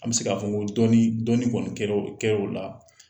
An bi se k'a fɔ ko dɔni kɔni kɛ lo la.